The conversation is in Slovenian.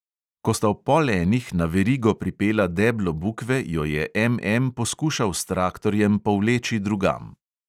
Ko sta ob pol enih na verigo pripela deblo bukve, jo je M M poskušal s traktorjem povleči drugam.